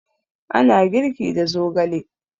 Ana girki da zogale